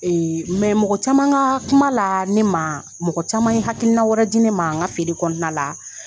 mɔgɔ caman ka kuma la, ne ma, mɔgɔ caman ye hakilina wɛrɛ di ne ma, an ka feere kɔnɔna la